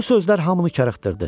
Bu sözlər hamını karıxdırdı.